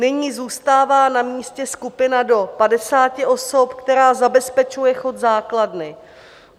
Nyní zůstává na místě skupina do 50 osob, která zabezpečuje chod základny.